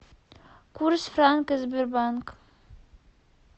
курс франка сбербанк